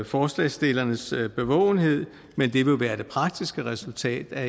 forslagsstillernes bevågenhed men det vil være det praktiske resultat af